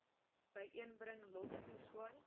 byeenbring lof toeswaai